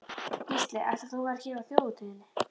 Gísli: Ætlar þú að vera hér á þjóðhátíðinni?